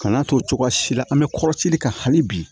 Kan'a to cogoya si la an bɛ kɔrɔsili kɛ hali bi